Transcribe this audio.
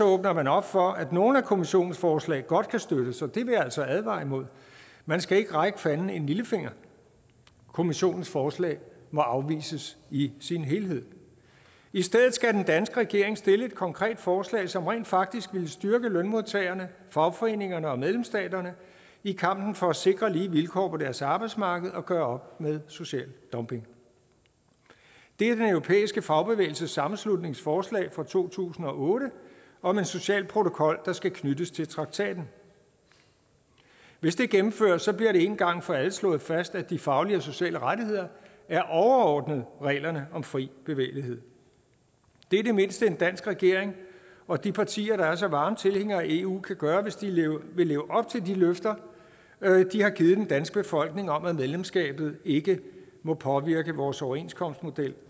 åbner man op for at nogle af kommissionens forslag godt kan støttes og det vil jeg altså advare imod man skal ikke række fanden en lillefinger kommissionens forslag må afvises i sin helhed i stedet skal den danske regering stille et konkret forslag som rent faktisk vil styrke lønmodtagerne fagforeningerne og medlemsstaterne i kampen for at sikre lige vilkår på deres arbejdsmarked og gøre med social dumping det er den europæiske fagbevægelses sammenslutnings forslag fra to tusind og otte om en social protokol der skal knyttes til traktaten hvis det gennemføres bliver det en gang for alle slået fast at de faglige og sociale rettigheder er overordnet reglerne om fri bevægelighed det er det mindste en dansk regering og de partier der er så varme tilhængere af eu kan gøre hvis de vil leve op til de løfter de har givet den danske befolkning om at medlemskabet ikke må påvirke vores overenskomstmodel